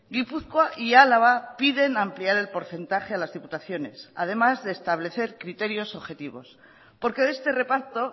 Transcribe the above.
gipuzkoa y álava piden ampliar el porcentaje a las diputaciones además de establecer criterios objetivos porque de este reparto